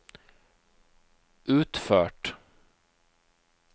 utført